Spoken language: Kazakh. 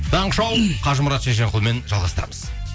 таңғы шоу қажымұрат шешенқұлмен жалғастырамыз